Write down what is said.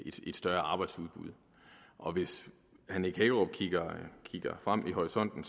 et større arbejdsudbud og hvis herre nick hækkerup kigger frem i horisonten